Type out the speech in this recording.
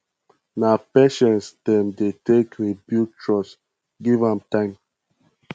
na patience dem dey take rebuild trust give am time